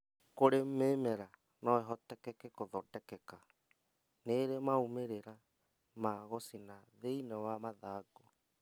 kũrĩ mĩmera noĩhotekeke gũthondekeka, nĩrĩ maumĩrĩra ma gũcina thĩinĩ wa mathangũ.